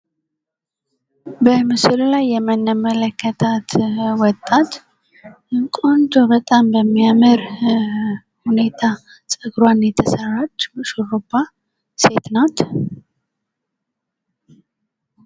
በምስሉ ላይ የምንመለከታት ወጣት ቆንጆ በጣም በሚያምር ሁኔታ ፀጉሯን የተሰራች ሹሩባ ሴት ናት።